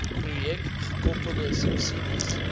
projek gekoppelde subsidies